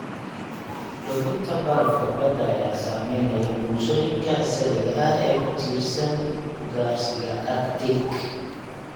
Luminta barafka badda ayaa saameynaya bulshooyinka asaliga ah ee ku tiirsan ugaarsiga Arctic.